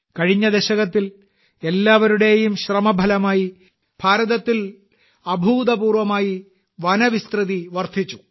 കഴിഞ്ഞ ദശകത്തിൽ എല്ലാവരുടെയും ശ്രമഫലമായി ഭാരതത്തിൽ അഭൂതപൂർവമായി വനവിസ്തൃതി വർധിച്ചു